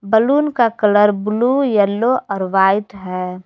Balloon का colour blue yellow और white है।